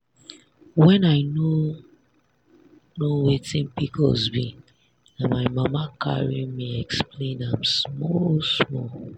when i no know wetin pcos be na my mama carry me explain am small small.